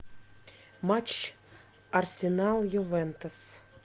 матч арсенал ювентус